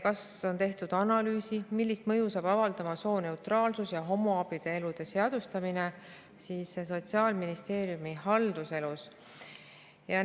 Kas on tehtud analüüsi, millist mõju saab avaldama sooneutraalsus ja homoabielude seadustamine Sotsiaalministeeriumi haldusalas?